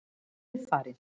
Hann er farinn.